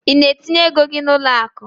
I na etinye égo gị n'uloaku?